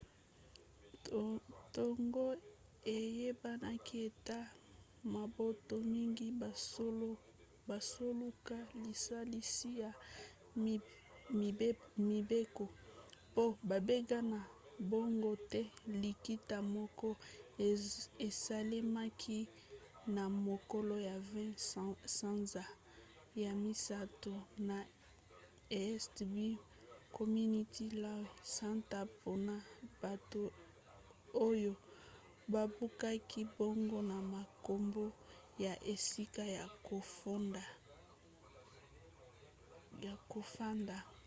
ntango eyebanaki ete mabota mingi bazoluka lisalisi ya mibeko po babengana bango te likita moko esalemaki na mokolo ya 20 sanza ya misato na east bay community law center mpona bato oyo babubaki bango na makambo ya esika ya kofanda